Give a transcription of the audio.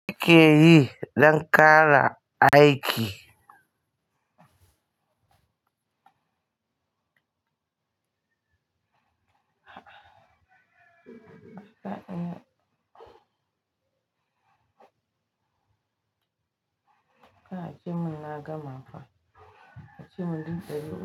Ni ke yi don ƙara aiki. Ka ajiye mun na gama fa. Ajiye mun littafin.